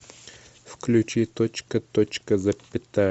включи точка точка запятая